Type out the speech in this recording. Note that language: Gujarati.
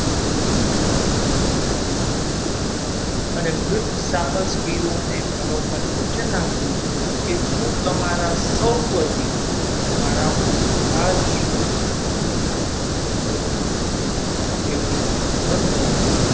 અને વૃદ્ધ સાહસવીરો ને મનોમન વચન આપ્યું કે હું તમારા સૌ વતી તમારા બધા જ વતી Everest સર કરીશ.